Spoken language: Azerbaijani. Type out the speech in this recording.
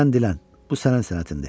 Sən dilən, bu sənin sənətindir.